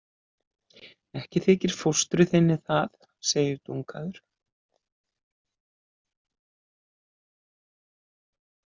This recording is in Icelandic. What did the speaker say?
Ekki þykir fóstru þinni það, segir Dungaður.